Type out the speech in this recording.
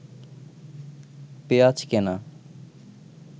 পেঁয়াজ কেনা